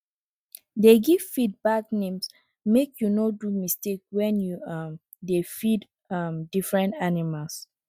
dey give feed bags names make you no do mistakes when you um dey feed um different animals